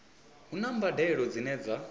hu na mbadelo dzine dza